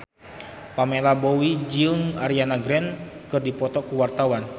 Pamela Bowie jeung Ariana Grande keur dipoto ku wartawan